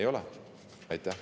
Ei ole!